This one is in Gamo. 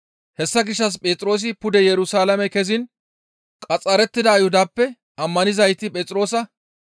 Hessa gishshas Phexroosi pude Yerusalaame keziin qaxxarettida Ayhudappe ammanizayti Phexroosa,